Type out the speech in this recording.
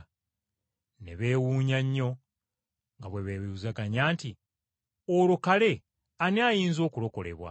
Ne beewuunya nnyo nga bwe beebuuzaganya nti, “Olwo kale ani ayinza okulokolebwa!”